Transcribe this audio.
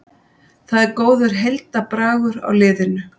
Það er góður heildarbragur á liðinu